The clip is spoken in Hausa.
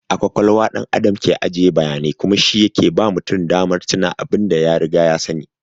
A ƙwaƙwalwa ɗan Adam ke ajiye bayanai kuma shi yake ba mutum damar tuna abin da ya riga ya sani.